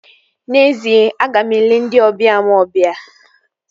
N'ezie, aga m ele ndị ọbịa m obia